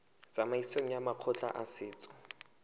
tsamaisong ya makgotla a setso